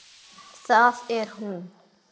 Það er hún!